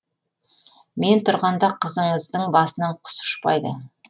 мен тұрғанда қызыңыздың басынан құс ұшпайды